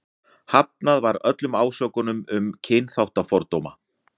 Hafnað var öllum ásökunum um kynþáttafordóma.